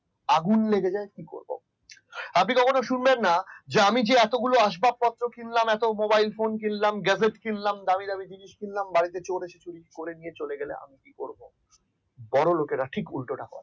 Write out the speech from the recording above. আগুন লেগে যায় কি করব আপনি কখনো শুনবেন না আমি যে এতগুলো আসবাবপত্র কিনলাম এত mobile কিনলাম দেসেস কিনলাম দামী দামী জিনিস কিনলাম বাড়িতে চোর এসে চুরি করে নিয়ে গেলে কি করব বড় লোকেরা ঠিক উল্টোটা করে